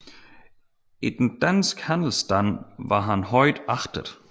I den danske handelsstand var han højt agtet